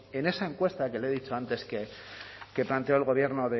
en esa encuesta que le he dicho antes que planteó el gobierno